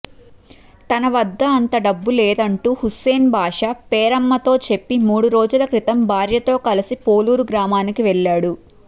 తన వద్ద అంత డబ్బు లేదంటూ హుసేన్బాషా పేరమ్మతో చెప్పి మూడురోజుల క్రితం భార్యతో కలిసి పోలూరు గ్రామానికి వెళ్లాడు